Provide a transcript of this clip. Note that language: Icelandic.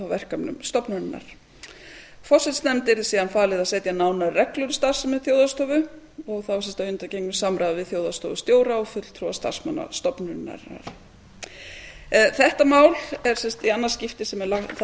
verkefnum stofnunarinnar forsætisnefnd yrði síðan falið að setja nánari reglur um starfsemi þjóðhagsstofu og þá að undangengnu samráði við þjóðhagsstofustjóra og fulltrúa starfsmanna stofnunarinnar þetta mál þetta er sagt sagt í annað skipti sem það